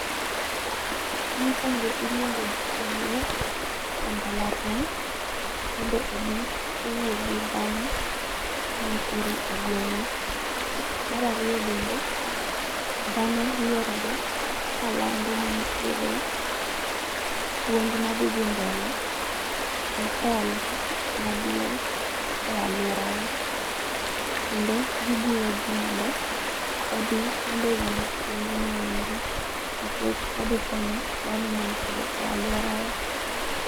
Mokuongo iluongo jopuonjre e mbalariany mondo obi owuo gi dhano manitiere e gweng wa. Mar ariyo bende, dhano luorore kalando ni nitiere puonj madhi dhi mbele e hall maduong e aluorawa kendo gijiwo jii mondo odhi mondo owinj puonjno endo nikech odhi konyo dhano mantiere e aluora wa.